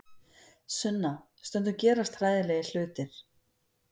Sunna, stundum gerast hræðilegir hlutir.